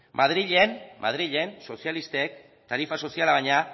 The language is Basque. madrilen sozialistek tarifa soziala baino